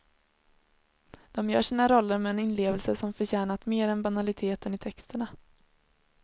De gör sina roller med en inlevelse som förtjänat mer än banaliteten i texterna.